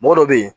Mɔgɔ dɔ bɛ ye